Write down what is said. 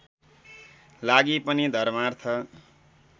लागि पनि धर्मार्थ